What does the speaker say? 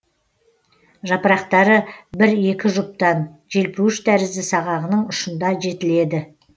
жапырақтары бір екі жұптан желпуіш тәрізді сағағының ұшында жетіледі